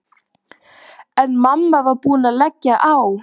En mamma var búin að leggja á.